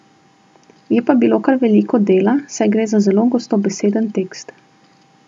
Je pa bilo pa kar veliko dela, saj gre za zelo gostobeseden tekst.